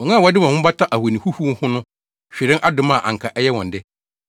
“Wɔn a wɔde wɔn ho bata ahoni huhuw ho no hwere adom a anka ɛyɛ wɔn de.